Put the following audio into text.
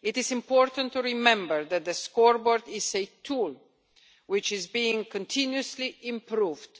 It is important to remember that the Scoreboard is a tool which is being continuously improved,